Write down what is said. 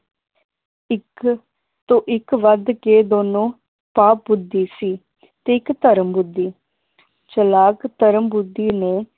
ਇਕ ਤੋਂ ਇਕ ਵੱਧ ਕੇ ਦੋਨੋ ਪਾ ਬੁੱਧੀ ਸੀ ਤੇ ਇਕ ਧਰਮ ਬੁੱਧੀ ਚਲਾਕ ਧਰਮ ਬੁੱਧੀ ਨੂੰ